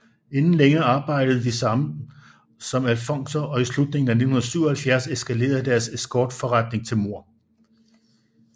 Inden længe arbejdede de sammen som alfonser og i slutningen af 1977 eskalere deres escortforretning til mord